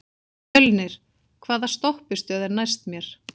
Mjölnir, hvaða stoppistöð er næst mér?